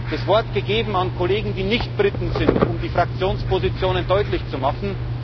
Er hat das Wort gegeben an Kollegen, die nicht Briten sind, um die Fraktionspositionen deutlich zu machen.